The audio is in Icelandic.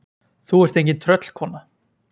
Þú ert engin tröllkona.